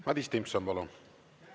Madis Timpson, palun!